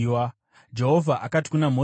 Jehovha akati kuna Mozisi,